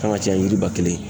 Kan ka caya ni yiri ba kelen ye